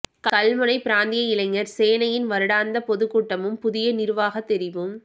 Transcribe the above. கல்முனை பிராந்திய இளைஞர் சேனையின் வருடாந்த பொதுக்கூட்டமும் புதிய நிருவாக தெரிவும்